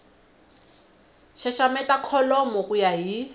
xaxameta kholomo ku ya hi